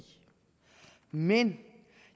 men